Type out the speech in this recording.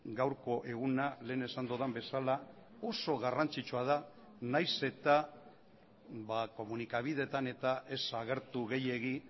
gaurko eguna lehen esan dudan bezala oso garrantzitsua da nahiz eta komunikabideetan eta ez agertu gehiegi